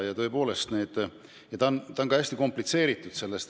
See teema on ka hästi komplitseeritud.